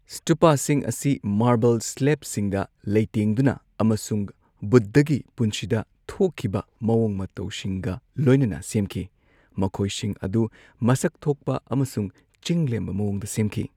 ꯁ꯭ꯇꯨꯄꯥꯁꯤꯡ ꯑꯁꯤ ꯃꯥꯔꯕꯜ ꯁ꯭ꯂꯦꯕꯁꯤꯡꯗ ꯂꯩꯇꯦꯡꯗꯨꯅ ꯑꯃꯁꯨꯡ ꯕꯨꯗꯙꯒꯤ ꯄꯨꯟꯁꯤꯗ ꯊꯣꯛꯈꯤꯕ ꯃꯑꯣꯡ ꯃꯇꯧꯁꯤꯡꯒ ꯂꯣꯏꯅꯅ ꯁꯦꯝꯈꯤ, ꯃꯈꯣꯏꯁꯤꯡ ꯑꯗꯨ ꯃꯁꯛ ꯊꯣꯛꯄ ꯑꯃꯁꯨꯡ ꯆꯤꯡ ꯂꯦꯝꯕ ꯃꯑꯣꯡꯗ ꯁꯦꯝꯈꯤ꯫